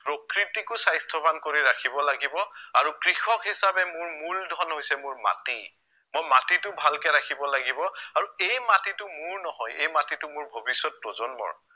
প্ৰকৃতিকো স্ৱাস্থ্য়বান কৰি ৰাখিব লাগিব আৰু কৃষক হিচাপে মোৰ মূলধন হৈছে মোৰ মাটি, মই মাটিটো ভালকে ৰাখিব লাগিব আৰু এই মাটিটো মোৰ নহয় এই মাটিটো মোৰ ভৱিষ্য়ত প্ৰজন্মৰ